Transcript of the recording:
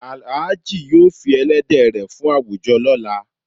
Alhaji yóò fí èlẹ̀dẹ̀ rẹ fún awújọ̀ lọla.